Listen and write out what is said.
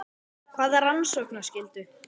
Hvaða rannsóknarskyldu?